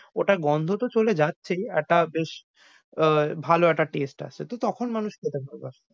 ওটার গন্ধতো চলে যাচ্ছেই, আর টা বেশ আহ ভালো একটা আসছে। তখন মানুষ খেতে ভালবাসে।